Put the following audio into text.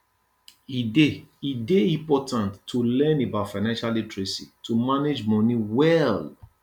e dey e dey important to learn about financial literacy to manage money well